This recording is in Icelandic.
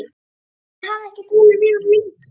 Ég hafði ekki talað við hann lengi.